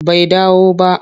Bai dawo ba.